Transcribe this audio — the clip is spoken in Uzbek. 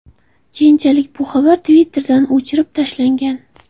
Keyinchalik bu xabar Twitter’dan o‘chirib tashlangan.